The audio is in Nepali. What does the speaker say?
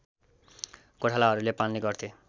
गोठालाहरूले पाल्ने गर्थे